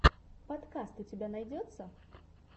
подкаст у тебя найдется